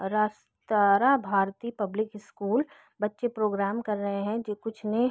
रास्त्रा भारतीय public school बच्चे programme कर रहे है जो कुछ ने --